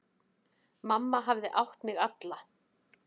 Mamma hafði átt mig alla.